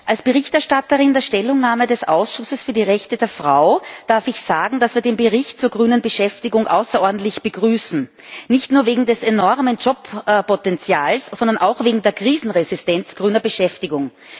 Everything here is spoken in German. Als Verfasserin der Stellungnahme des Ausschusses für die Rechte der Frau darf ich sagen, dass wir den Bericht zur grünen Beschäftigung außerordentlich begrüßen, nicht nur wegen des enormen Jobpotenzials, sondern auch wegen der Krisenresistenz grüner Beschäftigung.